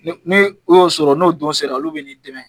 Ni n'i y'o sɔrɔ, n'o don sera ,olu bɛ n'i dɛmɛ.